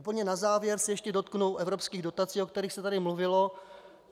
Úplně na závěr se ještě dotknu evropských dotací, o kterých se tu mluvilo.